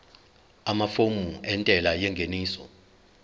amafomu entela yengeniso